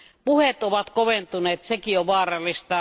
Puheet ovat koventuneet, sekin on vaarallista.